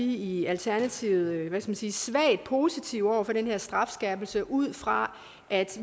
i alternativet hvad skal man sige svagt positive over for den her strafskærpelse ud fra at